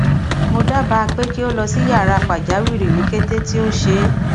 mo daba pe ki o lọ si yara pajawiri ni kete ti o ṣee